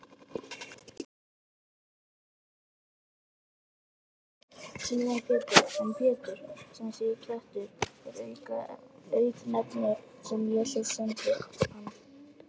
Símon Pétur, en Pétur, sem þýðir klettur, er auknefni sem Jesús sæmdi hann.